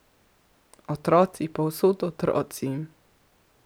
Otroci, povsod otroci.